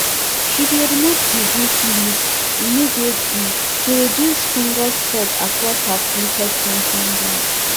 she dey remove diseased leaves immediately to reduce fungus spread across her fluted pumpkin vines